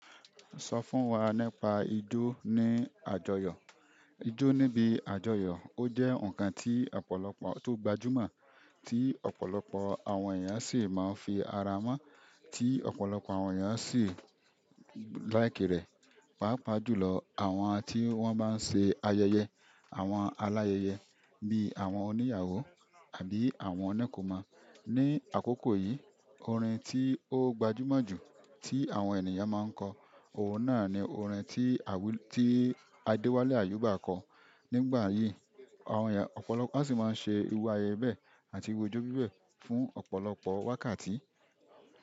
Sọ fún wa nípa ijó ní àjọyọ̀. Ijó níbi àjọyọ̀, ó jẹ́ ǹkan ti ọ̀pọ̀lọpọ̀ àwọn to gbajúmọ̀ tí ọ̀pọ̀lọpọ̀ àwọn èyan sì máa ń fi ara mọ́, tí ọ̀pọ̀lọpọ̀ àwọn èyàn sì láìki rẹ̀, pàápàá jùlọ àwọn tí wọ́n bá ń ṣe ayẹyẹ, àwọn aláyẹyẹ bí àwọn oníyàwó àbí àwọn onikomo. Ni àkókò yìí, orin tí ó gbajúmọ̀ jù tí àwọn ènìyàn máa ń kọ, òun náà ni orin tí Adewale Ayuba kọ. Nigbayi, ọ̀pọ̀lọpọ̀ as mo se iru ayẹyẹ be fún ọ̀pọ̀lọpọ̀ wákàtí.